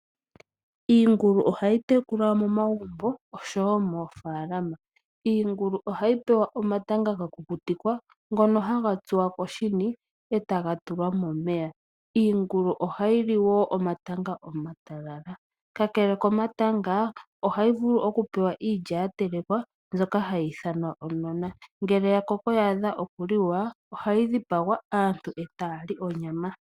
Iingulu ohayi tekulwa momagumbo nosho woo moofaalama. Iingulu ohayi pewa omatanga gakukutikwa ngono haga tsuwa koshini e taga tulwa momeya. Iingulu ohayi li woo omatanga omatalala, kakele komatango ohayi vulu woo oku pewa iilya yatelekwa mbyoka hayi ithanwa onona, ngele ya koko ya adha okuli wa ohayi dhipagwa aantu e taya li onyama.